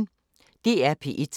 DR P1